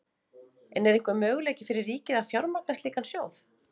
En er einhver möguleiki fyrir ríkið að fjármagna slíkan sjóð?